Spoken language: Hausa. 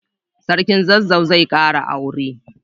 Sarkin zazzau zai kara aure.